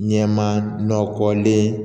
Ɲɛmaa nɔkɔlen